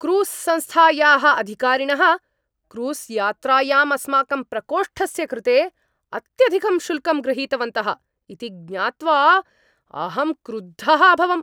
Cruise संस्थायाः अधिकारिणः क्रूस्यात्रायां अस्माकं प्रकोष्टस्य कृते अत्यधिकं शुल्कं गृहीतवन्तः इति ज्ञात्वा अहं क्रुद्धः अभवम्।